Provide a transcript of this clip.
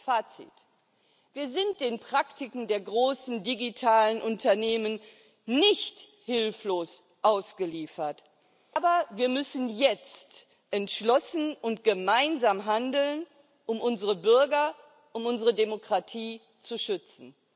Fazit Wir sind den Praktiken der großen digitalen Unternehmen nicht hilflos ausgeliefert, aber wir müssen jetzt entschlossen und gemeinsam handeln, um unsere Bürger, um unsere Demokratie zu schützen.